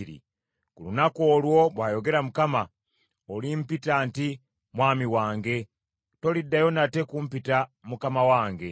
“Ku lunaku olwo,” bw’ayogera Mukama , “olimpita nti, ‘mwami wange;’ toliddayo nate kumpita, ‘ Mukama wange.’ ”